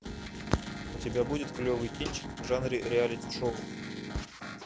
у тебя будет клевый кинчик в жанре реалити шоу